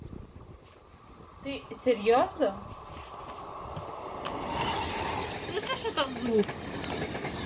ты серьёзно слышишь этот звук